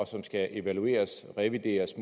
som skal evalueresmåske revideres